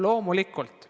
Loomulikult!